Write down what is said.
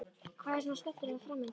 Hvað var svona skemmtilegt fram undan?